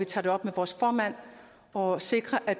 tage det op med vores formand og sikre at